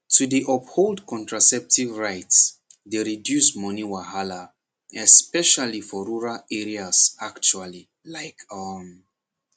to dey uphold contraceptive rights dey reduce money wahala especially for rural areas actually like um